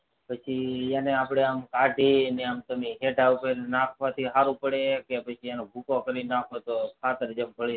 પછી એને આપડે આમ કાઢીઉપર નાખવથી સારો પડે કે પછી એનો ભૂકો કરી નાખો તો ખાતર જે ભરી જાય